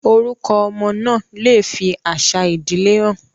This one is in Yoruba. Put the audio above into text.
Orúkọ ọmọ náà lè fi àṣà ìdílé han